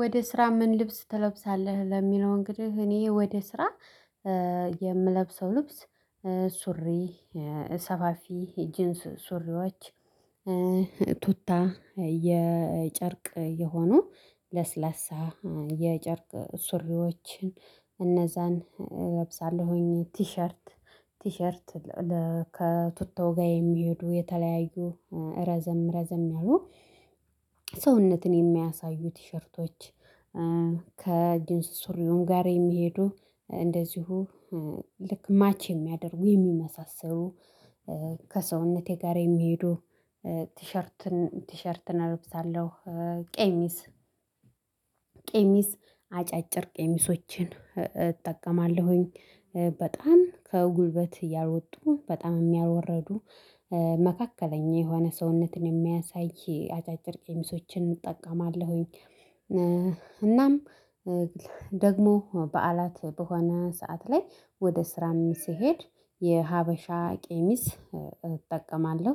ወደ ስራ ምን ልብስ ትለብሳለህ? ለሚለው እንግዲህ እኔ ወደ ስራ የምለብሰው ልብስ ሱሪ ሰፋፊ ጂንስ ሱሪዎች ቱታ የጨርቅ የሆኑ ለስላሳ የጨርቅ ሱሪዎችን እነዛን እለብሳለሁኝ። ቲሸርት ቲሸርት ከቱታው ጋር የሚሄዱ የተለያዩ ረዘም ረዘም ያሉ ሰውነትን የሚያሳዩ ቲሸርቶች። ከጂንስ ሱሪውም ጋር የሚሄዱ እንደዚሁ ልክ ማች የሚያደርጉ የሚመሳሰሩ ከሰውነቴ ጋር የሚሄዱ ቲሸርትን ቲሸርትን እለብሳለሁ። ቀሚስ ቀሚስ አጫጭር ቀሚሶችን እጠቀማለሁኝ በጣም ከጉልበት ያሎጡ በጣምም ያልወረዱ መካከለኛ የሆነ ሰውነትን የሚያሳይ አጫጭር ቄሚሶችን እጠቀማለሁኝ። እናም ደግሞ በዓላት በሆነ ሰዓት ላይ ወደ ስራም ስሄድ የሀበሻ ቀሚስ እጠቀማለሁ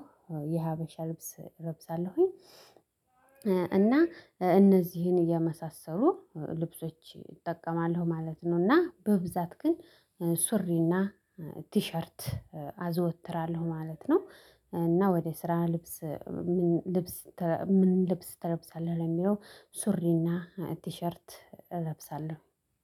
የሀበሻ ልብስ እለብሳለሁኝ። እና እነዚህን የመሳሰሉ ልብሶች እጠቀማለሁ ማለት ነው። እና በብዛት ግን ሱሪና ቲሸርት አዘወትራለሁ ማለት ነው። እና ወደ ስራ ልብስ ምን ልብስ ምን ልብስ ተለብሳለህ? ለሚለው ሱሪና ቲሸርት እለብሳለሁ።